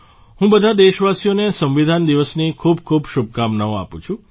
હું બધા દેશવાસીઓને સંવિધાન દિવસની ખૂબ ખૂબ શુભકામનાઓ આપું છું